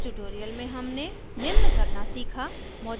इस tutorial में हमने निम्न करना सीखा